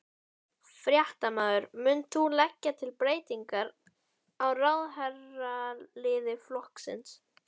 Fréttamaður: Munt þú leggja til breytingar á ráðherraliði flokksins?